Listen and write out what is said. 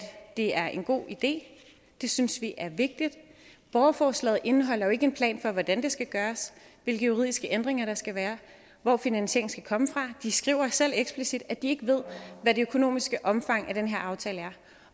det er en god idé det synes vi er vigtigt borgerforslaget indeholder jo ikke en plan for hvordan det skal gøres hvilke juridiske ændringer der skal være og hvor finansieringen skal komme fra de skriver selv eksplicit at de ikke ved hvad det økonomiske omfang af den her aftale er